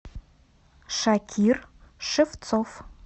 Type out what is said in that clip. шакир шевцов